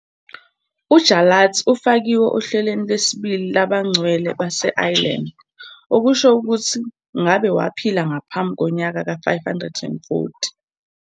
UJarlath ufakiwe ohlelweni lwesibili lwabangcwele base-Ireland, okusho ukuthi kumele ngabe waphila ngaphambi konyaka ka-540.